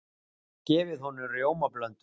Gefið honum rjómablöndu?